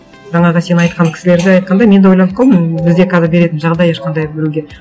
жаңағы сен айтқан кісілерді айтқанда мен де ойланып қалдым бізде қазір беретін жағдай ешқандай біреуге